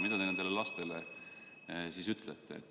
Mida te nendele lastele ütlete?